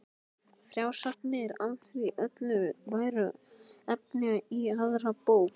Frásagnir af því öllu væru efni í aðra bók.